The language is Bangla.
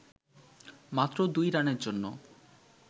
মাত্র দুই রানের জন্য